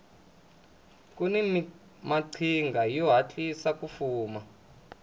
kuni maqhinga yo hatlisa ku fuma